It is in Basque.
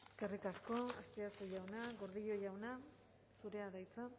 eskerrik asko azpiazu jauna gordillo jauna zurea da hitza